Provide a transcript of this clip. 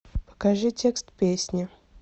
покажи текст песни